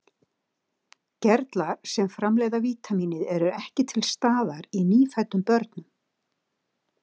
Gerlar sem framleiða vítamínið eru ekki til staðar í nýfæddum börnum.